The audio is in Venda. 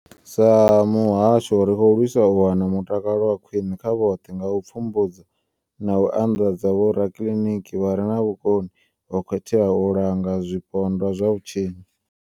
Sa muhasho, ri khou lwisa u wana mutakalo wa khwine kha vhoṱhe nga u pfumbudza na u andadza vhorakiḽiniki vha re na vhukoni ho khetheaho u langa zwipondwa zwa vhutshinyi.